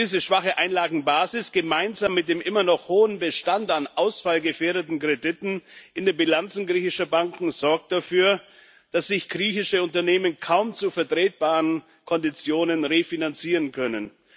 Diese schwache Einlagenbasis, gemeinsam mit dem immer noch hohen Bestand an ausfallgefährdeten Krediten in den Bilanzen griechischer Banken, sorgt dafür, dass sich griechische Unternehmen kaum zu vertretbaren Konditionen refinanzieren können.